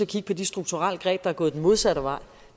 kigge på de strukturelle greb der går den modsatte vej